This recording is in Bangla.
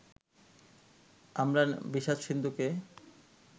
আমরা বিষাদ-সিন্ধুকে